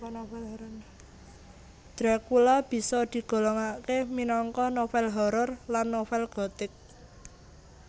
Dracula bisa digolongake minangka novel horror lan novel gothic